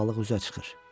Balıq üzə çıxır.